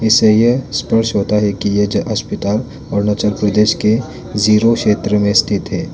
इससे ये स्पष्ट होता है कि ये जो अस्पताल अरुणाचल प्रदेश के जीरो क्षेत्र में स्थित है।